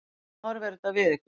Hvernig horfir þetta við ykkur?